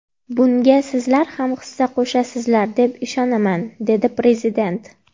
Bunga sizlar ham hissa qo‘shasizlar deb ishonaman”, dedi Prezident.